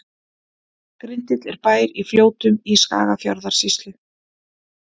Grindill er bær í Fljótum í Skagafjarðarsýslu.